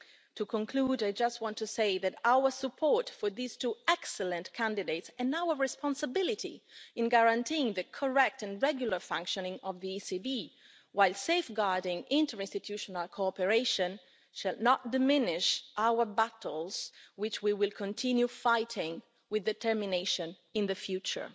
To conclude, I just want to say that our support for these two excellent candidates, and our responsibility in guaranteeing the correct and regular functioning of the ECB, while safeguarding interinstitutional cooperation, shall not diminish our battles which we will continue fighting with determination in the future.